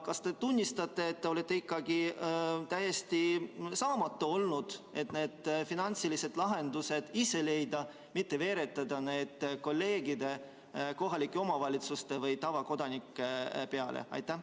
Kas te tunnistate, et te olete ikkagi täiesti saamatu olnud selles, et ise neid finantsilisi lahendusi leida, selle asemel et seda veeretada kolleegide, kohalike omavalitsuste või tavakodanike peale?